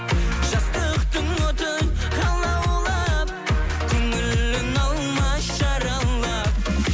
жастықтың оты алаулап көңілін алма жаралап